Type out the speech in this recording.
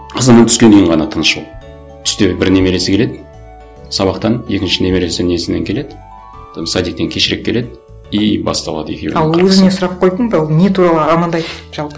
азаннан түске дейін ғана тыныш оның түсте бір немересі келеді сабақтан екінші немересі несінен келеді там садиктен кешірек келеді и басталады екеуінің қырқысы ал өзіне сұрақ қойдың ба ол не туралы армандайды жалпы